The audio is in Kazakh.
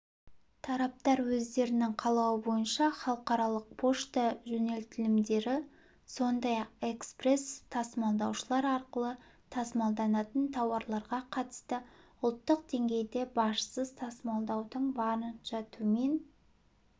тараптар өздерінің қалауы бойынша халықаралық пошта жөнелтілімдері сондай-ақ экспресс-тасымалдаушылар арқылы тасымалданатын тауарларға қатысты ұлттық деңгейде бажсыз тасымалдаудың барынша төмен